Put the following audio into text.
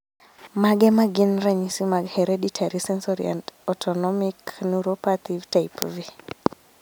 Mage magin ranyisi mag Hereditary sensory and autonomic neuropathy type V